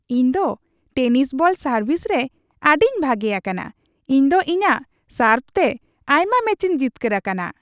ᱤᱧ ᱫᱚ tennis ball service ᱨᱮ ᱟᱹᱰᱤᱧ ᱵᱷᱟᱜᱮ ᱟᱠᱟᱱᱟ ᱾ ᱤᱧ ᱫᱚ ᱤᱧᱟᱜ ᱥᱟᱨᱵᱷ ᱛᱮ ᱟᱭᱢᱟ ᱢᱮᱪᱤᱧ ᱡᱤᱛᱠᱟᱹᱨ ᱟᱠᱟᱱᱟ ᱾